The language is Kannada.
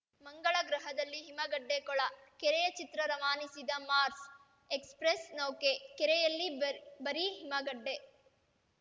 ಮಂಗಳ ಗ್ರಹದಲ್ಲಿ ಹಿಮಗಡ್ಡೆ ಕೊಳ ಕೆರೆಯ ಚಿತ್ರ ರವಾನಿಸಿದ ಮಾರ್ಸ್‌ ಎಕ್ಸ್‌ಪ್ರೆಸ್‌ ನೌಕೆ ಕೆರೆಯಲ್ಲಿ ಬರ್ ಬರೀ ಹಿಮಗಡ್ಡೆ